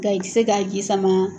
Nga i tɛ se k'a ji sama.